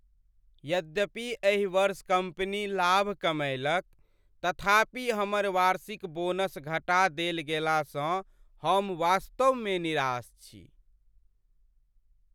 यद्यपि एहि वर्ष कम्पनी लाभ कमएलक तथापि हमर वार्षिक बोनस घटा देल गेलासँ हम वास्तवमे निराश छी।